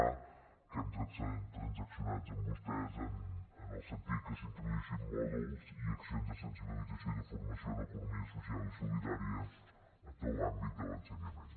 a que hem transaccionat amb vostès en el sentit que s’introduïssin mòduls i accions de sensibilització i de formació en economia social i solidària en tot l’àmbit de l’ensenyament